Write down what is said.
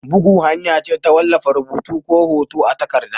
Bugu hanya ce ta wallafa rubutu ko hoto a takarda.